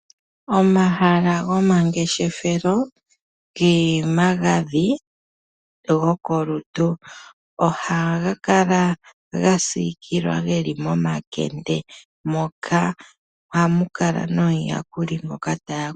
Omahala gomangeshefelo gena omagadhi gokolutu ohaga kala ga siikilwa geli momakende moka hamu kala nomuyakuli ngoka taya kula.